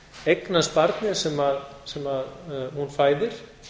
eignast barnið sem hún fæðir